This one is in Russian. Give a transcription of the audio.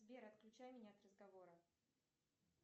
сбер отключай меня от разговора